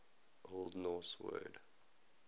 old norse word